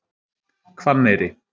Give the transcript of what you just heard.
Hvanneyri